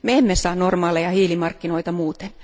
Me emme saa normaaleja hiilimarkkinoita muuten.